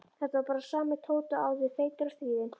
Þetta var bara sami Tóti og áður, feitur og stríðinn.